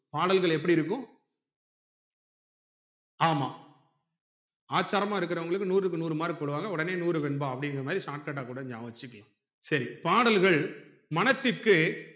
பாடல்கள் எப்டி இருக்கும் ஆமா ஆச்சாரமா இருக்குறவங்களுக்கு நூறுக்கு நூறு mark போடுவாங்க ஒடனே நூறுவெண்பா அப்புடின்குற மாதிரி shortcut ஆ கூட நியாபகம் வச்சிக்கலாம் சரி பாடல்கள் மனசுக்கு